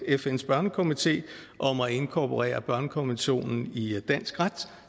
fns børnekomité om at inkorporere børnekonventionen i dansk ret